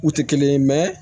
U tɛ kelen ye